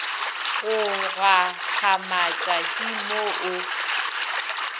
go gakgamatša ke mo o